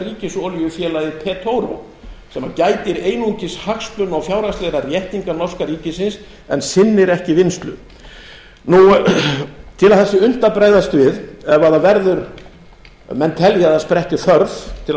norska ríkisolíufélagið sem gætir einungis hagsmuna og fjárhagslegra réttinda norska ríkisins en sinnir ekki vinnslu til að það sé unnt að bregðast við ef menn telja að það spretti þörf til að